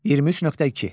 23.2.